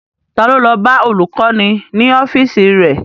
Ta ló lọ bá olùkọ́ni ní ọ́fíìsì rẹ̀?